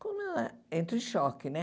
Como entra em choque, né?